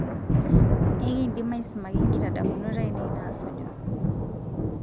ekindim aisumaki nkitadamunot ainei naasuju